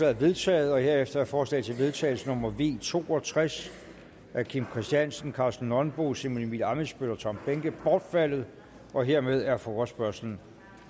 er vedtaget herefter er forslag til vedtagelse nummer v to og tres af kim christiansen karsten nonbo simon emil ammitzbøll og tom behnke bortfaldet dermed er forespørgslen